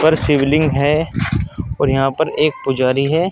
शिवलिंग है और यहां पर एक पुजारी है।